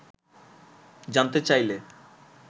জানতে চাইলে